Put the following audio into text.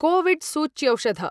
कोविड्सूच्यौषध